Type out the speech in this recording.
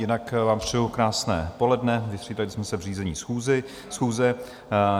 Jinak vám přeji krásné poledne, vystřídali jsme se v řízení schůze.